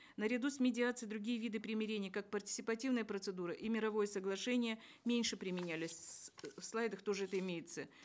наряду с медиацией другие виды примирения как партисипативная процедура и мировое соглашение меньше применялись в слайдах тоже это имеется